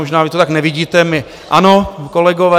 Možná vy to tak nevidíte, my ano, kolegové.